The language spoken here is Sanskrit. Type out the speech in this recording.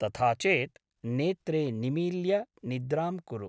तथा चेत् नेत्रे निमील्य निद्रां कुरु ।